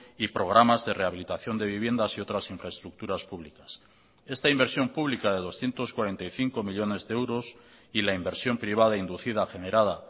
y programas de rehabilitación de viviendas y otras infraestructuras públicas esta inversión pública de doscientos cuarenta y cinco millónes de euros y la inversión privada inducida generada